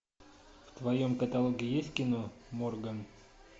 в твоем каталоге есть кино морган